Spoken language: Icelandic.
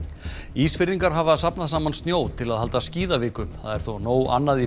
Ísfirðingar hafa safnað saman snjó til að halda skíðaviku það er þó nóg annað í